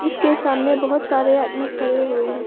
इसके सामने बहुत सारे आदमी खड़े हुए हैं।